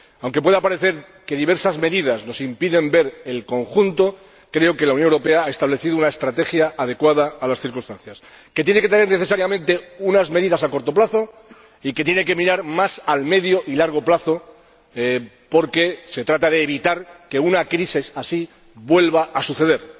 Aunque pueda parecer que diversas medidas nos impiden ver el conjunto, creo que la Unión Europea ha establecido una estrategia adecuada a las circunstancias, que tiene que incluir necesariamente unas medidas a corto plazo y tiene que mirar más al medio y largo plazo, porque se trata de evitar que una crisis así vuelva a suceder.